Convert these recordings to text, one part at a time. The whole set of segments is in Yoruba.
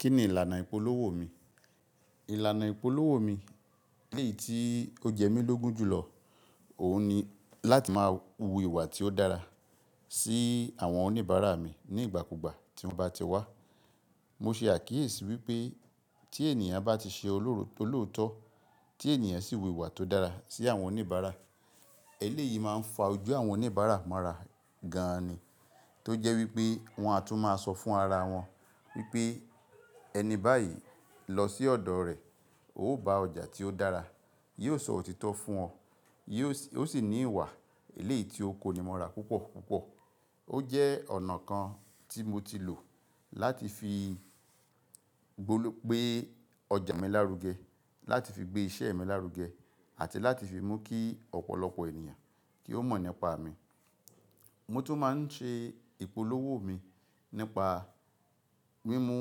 Kí ni ìlànà ìpolówó mi? Ìlànà ìpolówó mi eléyìí tí ó jẹ mí lógun jùlọ, òun ni láti máa wu ìwà tí ó dára sí àwọn oníbàárà mi ní ìgbàkúgbà tí wọ́n bá ti wá. Mo ṣe àkíyèsí wípé tí ènìyàn bá ti ṣe olóòótọ́, tí ènìyàn sì wu ìwà tó dára sí àwọn oníbàárà, eléyìí máa ń fa ojú àwọn oníbàárà mara gan ni. Tó jẹ́ wípé wọ́n á tún máa sọ fún ara wọn wípé "ẹni báyìí lọ sí ọ̀dọ̀ rẹ̀, ó bá ọjà tí ó dára". Yóò sọ òtítọ́ fún ọ, ó sì ní ìwà eléyìí tí ó konimọ́ra púpọ̀púpọ̀. Ó jẹ́ ọ̀nà kan tí mo ti lò láti fi gbólo, gbé ọjà mi lárugẹ, láti fi gbé iṣẹ́ mi lárugẹ àti láti fi mú kí ọ̀pọ̀lọpọ̀ ènìyàn kí ó mọ̀ nípa mi. Mo tún máa ń ṣe ìpolówó mi nípa mímú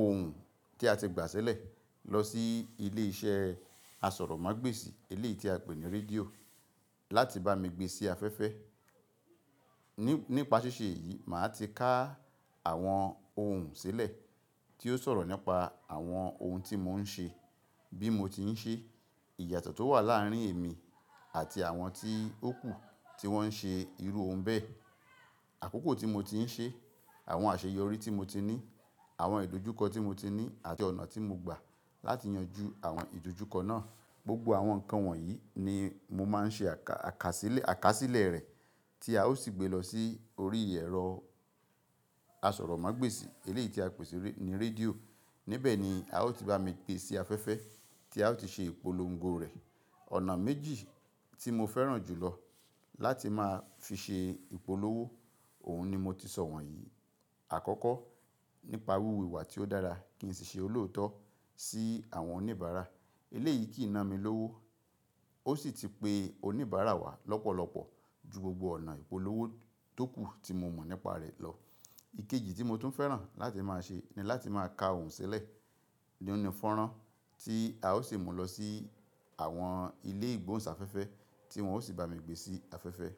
ohun tí a ti gbà sẹ́lẹ̀ lọ sí ilé iṣẹ́ àsọ̀rọ̀mágbèsì, eleyi tí a pè ní rédíò láti bá mi gbé sí afẹ́fẹ́. Nípa sìṣe yìí, màá ti ká àwọn ohun sílẹ̀ tí yóò sọ̀rọ̀ nípa àwọn ohun tí mò ń ṣe, bí mo ti ń ṣe, ìyàtọ̀ tó wà láàárín èmi àti àwọn tí ó kù tí wọ́n ń ṣe irú ohun bẹ́ẹ̀. Àkókò tí mo ti ń ṣe, àwọn àṣeyọrí tí mo ti ní, àwọn ìdojúkọ tí mo ti ní àti ọ̀nà tí mo gbà láti yanjú àwọn ìdojúkọ náà. Gbogbo àwọn nǹkan wọ̀nyí ni mo máa ń ṣe akasile àkásílẹ̀ rẹ̀ tí a ó sì gbé lọ sí orí ẹ̀rọ àsọ̀rọ̀mágbèsì, ele yi tí a pè sí ní rédíò. Níbẹ̀ ni a ó ti bá mi gbé sí afẹ́fẹ́ tí a ó ti ṣe ìpolongo rẹ̀. Ọ̀nà méjì tí mo fẹ́ràn jùlọ láti máa fi ṣe ìpolówó, òun ni mo ti sọ wọ̀nyí. Àkọ́kọ́, nípa wiwu ìwà tí ó dára kì í sì ṣe olóòótọ́ sí àwọn oníbàárà. Eléyìí kì í ná mi lówó, ó sì ti pe oníbàárà wá lọ́pọ̀lọpọ̀ ju gbogbo ọ̀nà ìpolówó tókù tí mo mọ̀ nípa rẹ̀ lọ. Ikeji tí mo tún fẹ́ràn láti máa ṣe ni láti máa ka ohun sílẹ̀ ní onífọ̀ràn tí a ó sì mú lọ sí àwọn ilé ìgbóhùnsáfẹ́fẹ́ tí wọ́n ó sì bá mi gbé sí afẹ́fẹ́.